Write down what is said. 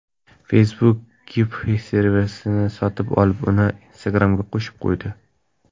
Facebook Giphy servisini sotib olib, uni Instagram’ga qo‘shib qo‘ydi.